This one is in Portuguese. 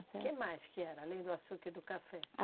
O que mais que era, além do açúcar e do café?